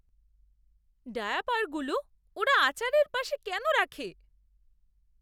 ডায়াপারগুলো ওরা আচারের পাশে কেন রাখে?